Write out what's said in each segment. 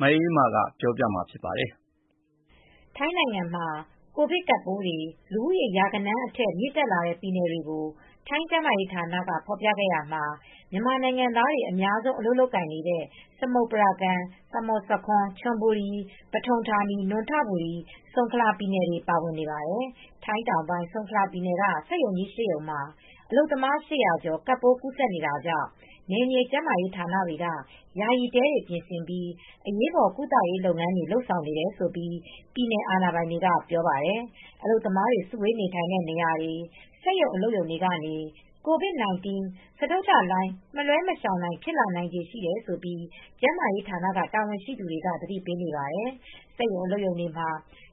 မအေးအေးမာကပြောပြပေးပါမယ်။ ထိုင်းနိုင်ငံမှာ ကိုဗစ်ကပ်ပိုးတွေလူဦးရေ ရာဂဏန်းအထက် မြင့်တက်လာတဲ့ပြည်နယ်တွေကို ထိုင်းကျန်းမာရေးဌာနကဖေါ်ပြခဲ့ရာမှာ မြန်မာနိုင်ငံသားတွေအများဆုံး အလုပ်လုပ်ကိုင်နေကြတဲ့ စမုတ်ပရာကမ် -ဆာမွတ်ဆာခွန်း ချွန်ဘူရီ -ပထုံဌာနီ နွန်ထဘူရီ ဆုံခလာပြည်နယ်တွေလည်းပါဝင်နေပါတယ်။ ထိုင်းတောင်ပိုင်း ဆုံခလာပြည်နယ်က စက်ရုံကြီး ၈ ရုံမှာ အလုပ်သမား ၈၀၀ ကျော် ကပ်ပိုးကူးဆက်နေတာကြောင့် နယ်မြေကျန်းမာရေးဌာနတွေက.ယာယီတဲတွေ ပြင်ဆင်ပြီးအရေးပေါ်ကုသရေး လုပ်ငန်းတွေ လုပ်ဆောင်နေတယ်လို့ ပြည်နယ်အာဏာပိုင်တွေက ပြောပါတယ်။ အလုပ်သမားတွေ စုဝေး နေထိုင်တဲ့နေရာတွေ စက်ရုံအလုပ်ရုံတွေကနေ ကိုဗစ် -၁၉ စတုတ္ထလှိုင်း မလွဲမရှောင်နိုင် ဖြစ်လာနိုင်တယ်လို့ ကျန်းမာရေးဌာန တာဝန်ရှိသူတွေက သတိပေးနေပါတယ်။ စက်ရုံအလုပ်ရုံတွေမှာ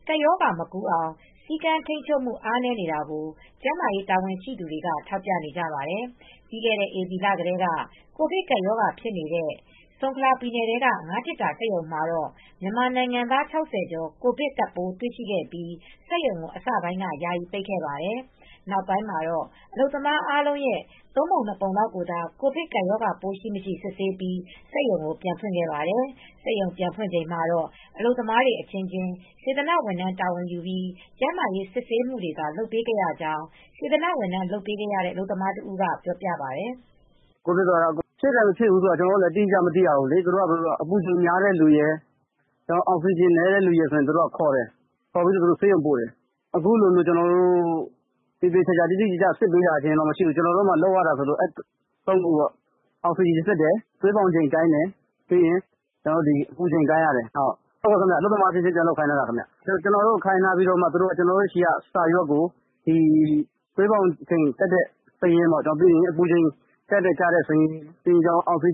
ကပ်ရောဂါ မကူးအောင် စည်းကမ်း ထိန်းချုပ်မှု အားနည်းနေတာကို ကျန်းမာရေး တာဝန်ရှိသူတွေက ထောက်ပြနေကြပါတယ်။ ပြီးခဲ့တဲ့ဧပြီလကတည်းက ကိုဗစ်ကပ်ရောဂါဖြစ်နေတဲ့ ဆုံခလာပြည်နယ်ထဲက ငါးသေတ္တာစက်ရုံမှာတော့ မြန်မာနိုင်ငံသား ၆၀ ကျော် ကိုဗစ်ကပ်ပိုးတွေ့ရှိပြီး စက်ရုံကို အစပိုင်းက ယာယီပိတ်ခဲ့ပါတယ်။ နောက်ပိုင်းမှာ အလုပ်သမားအားလုံးရဲ့သုံးပုံ နှစ်ပုံလောက်ကိုသာ ကိုဗစ်ကပ်ရောဂါ ရှိ မရှိ စစ်ဆေးပြီး စက်ရုံကို ပြန်ဖွင့်ခဲ့ပါတယ်။ စက်ရုံပြန်ဖွင့်ချိန်မှာတော့ အလုပ်သမားတွေအချင်းချင်း စေတနာဝန်ထမ်းတာဝန်ယူပြီး ကျန်းမာရေးစစ်ဆေးမူတွေသာ လုပ်ပေးခဲ့ရကြောင်း စေတနာဝန်ထမ်းလုပ်ပေးနေရတဲ့ အလုပ်သမားတဦးကပြောပြပါတယ်။ " ကိုဗစ်ဖြစ်တယ် မဖြစ်တယ် ကျနော်တို့ကတော့အတိအကျမသိရဘူးလေ သူတို့က ကိုယ်ပူချိန်များတဲ့ သူရယ်အောက်စီဂျင်နည်းတဲ့သူရယ် သူတို့ကခေါ်ပြီးဆေးရုံပိုတယ် တိတိကျကျစစ်ဆေးတာတာ့မရှိဘူး ကျနော်တို့လုပ်ရာက အောက်စီဂျင်တိုင်းတယ် သွေးပေါင်ချိန်တိုင်းတယ် အပူချိန်တိုင်းတယ် အဲဒီ ၃မျိုးလုပ်ပေးရတယ် အလုပ်သမားအချင်းချင်းပြန်လုပ်ခိုင်းတာခင်ဗျ ကျနော်တို့ကိုခိုင်းထားပြီးမှ ကျနော်တို့ဆီကစာရွက်ကို ဒီသွေးပေါင်ချိန်တက်တဲ့စာရင်း အပူချိန်တက်ကျတဲ့စာရင်းကို ဆေးရုံက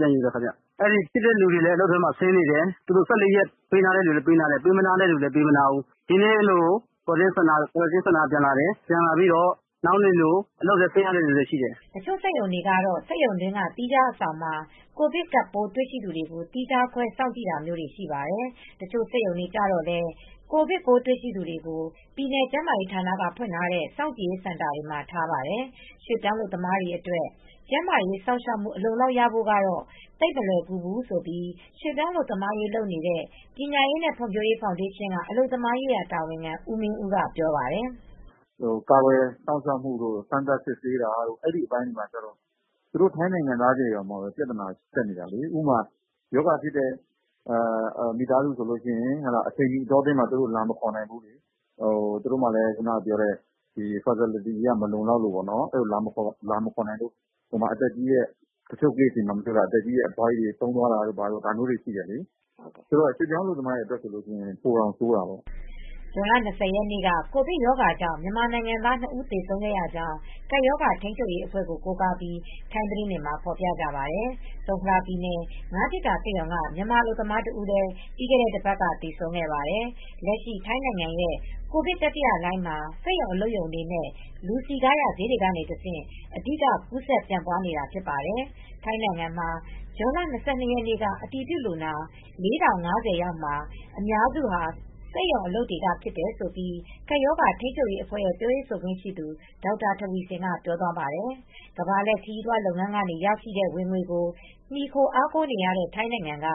ပြန်ယူတယ် ခင်ဗျ ဖြစ်တဲ့သူတွေလည်းအလုပ်ထဲမှာဆင်းနေတယ် သူတို့ ၁၄ ရက်ပေးနားတဲ့သူတွေလည်းရှိတယ် တချို့လည်းပေးမနားဘူး ဒီနေ့လို စောင့်ကြည့်ရေးစင်တာကပြန်လာတယ် နောက်နေလို အလုပ်ထဲပြန်ဆင်းတာလည်းရှိတယ်။ " တချို့ စက်ရုံတွေကတော့ စက်ရုံအတွင်းက သီးခြားအဆောင်မှာ ကိုဗစ်ကပ်ပိုးတွေရှိသူတွေကို သီးခြားခွဲ စောင့်ကြည့်တာမျိုးရှိပါတယ်။ တချို့စက်ရုံတွေကျတော့လည်း ကိုဗစ်ပိုးတွေ့သူတွေကို ပြည်နယ်ကျန်းမာရေးဌာနတွေကဖွင့်ထားတဲ့ စောင့်ကြည်ရေးစင်တာတွေမှာ ထားပါတယ်။ ရွှေပြောင်းအလုပ်သမားတွေအတွက် ကျန်းမာရေးစောင့်ရှောက်မူအလုံအလောက်ရဖို့ကတော့ သိတ်မလွယ်ကူဘူးလို့ရွေပြောင်းအလုပ်သမားရေးလုပ်နေတဲ့ ပညာရေးနဲ့ ဖွံ့ဖြိုးရေးဖောင်ဒေးရှင်း အလုပ်သမားရေးတာဝန်ခံ ဦးမင်းဦးက - ပြောပါတယ်။ " ကာကွယ်စောင့်ရှောက်မူတို့ စမ်းသပ်စစ်ဆေးတာတို့ အဲဒီအပိုင်းတွေကျတော့ သူတို့ထိုင်းနိုင်ငံသားအချင်းချင်းကြားမှာတောင်ပြသနာတက်နေတာ ဥပမာ ရောဂါဖြစ်နေတဲ့မိသားစုဆိုရင် အချိန်မှီအတောအတွင်းမှာလာမခေါ်နိုင်ဘူး သူတို့မှာ သူတို့မှာ facility အရ မလုံလောက်လို့ သူတို့မှာအသက်ကြီးတဲ့သူတွေတောင် တချို့Case တွေမှာ အဖွားကြီးတွေလာမခေါ်နိုင်လို့ဆုံးသွားတာရှိတယ် ရွေပြောင်းအလုပ်သမားတွေဆိုတော့ပိုဆိုးတာပေါ့ ။ " ဇွန်လ ၂၀ ရက်နေ့က ကိုဗစ်ကပ်ရောဂါကြောင့် မြန်မာနိုင်ငံသား နှစ်ဦးသေဆုံးခဲ့ကြောင်းကပ်ရောဂါထိမ်းချုပ်ရေးအဖွဲကို ကိုးကားပြီးထိုင်းသတင်းတွေမှာဖော်ပြကြပါတယ်။ ဆုံခလာပြည်နယ်ငါးသေတ္တာစက်ရုံက မြန်မာအလုပ်သမားတဦးလည်း ပြီးခဲ့တဲ့ တပါတ်က သေဆုံးခဲ့ပါတယ်။ လက်ရှိ ထိုင်းနိုင်ငံရဲ့ ကိုဗစ် တတိယလှိုင်းမှာ စက်ရုံ အလုပ်ရုံတွေနဲ့ လူစည်ကားရာဈေးတွေကတဆင့် အဓိက ကူးစက်ပြန့်ပွားနေတာဖြစ်ပါတယ်။ ထိုင်းနိုင်ငံမှာ ဇွန်လ၂၂ ရက်နေ့က အတည်ပြုလူနာ ၄၀၅၀ ယောက်မှာ အများစုဟာ စက်ရုံအလုပ်တွေက ဖြစ်တယ်လို့ ကပ်ရောဂါထိမ်းချုပ်ရေးအဖွဲ့ရဲ့ပြောရေးဆိုခွင့်ရှိသူ ဒေါက်တာ ထဝီဆင်ကပြောသွားပါတယ်၊ ကမ္ဘာလှည့်ခရီးသွားလုပ်ငန်းကရရှိတဲ့ ဝင်ငွေကို မှီခိုအားကိုးနေရတဲ့ ထိုင်းနိုင်ငံက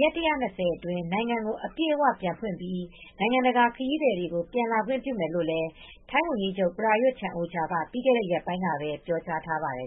ရက် ၁၂၀ အတွင်း နိုင်ငံကို အပြည့်အဝ ပြန်ဖွင့်ပြီး နိုင်ငံတကာ ခရီးသည်တွေကို ပြန်လာခွင့်ပြုမယ်လို့ ဝန်ကြီးချုပ် ပရာယွဒ် ချန်အိုချာက ပြီးခဲ့တဲ့ရက်ပိုင်းကပဲ ပြောကြားထားပါတယ်